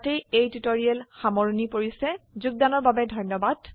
ইয়াতে এই টিউটৰীয়েল সামৰনি পৰিছে যোগদানৰ বাবে ধন্যবাদ